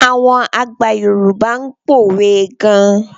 Àwọn àgbà Yorùbá ń pòwe gan.